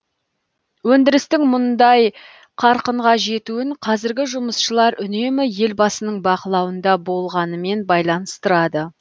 өндірістің мұндай қарқынға жетуін қазіргі жұмысшылар үнемі елбасының бақылауында болғанымен байланыстырады